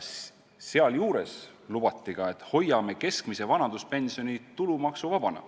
Sealjuures lubati ka: "Hoiame keskmise vanaduspensioni tulumaksuvabana.